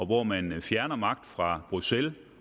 hvor man fjerner magt fra bruxelles